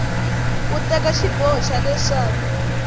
ku teka xiboho xa leswaku